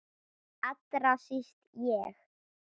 Allra síst ég!